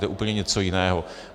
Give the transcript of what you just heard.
To je úplně něco jiného.